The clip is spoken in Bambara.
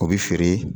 O bɛ feere